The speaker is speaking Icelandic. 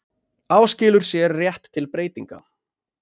Áskilur sér rétt til breytinga